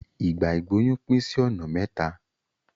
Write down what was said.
Ìgbà ìgbóyún pín sí ọ̀nà mẹ́ta.